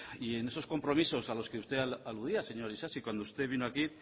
y en esos compromisos a los que usted aludía señor isasi cuando usted vino aquí